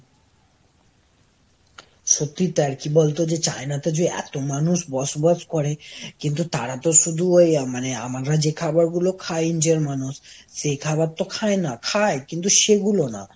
সত্যিই তাই আর কি বলতো যে China তে যে এত মানুষ বসবাস করে, কিন্তু তারা তো শুধু ওই মানে আমরা যে খাবারগুলো খাই India র মানুষ সে খাবার তো খায় না। খায়, কিন্তু সেগুলো না।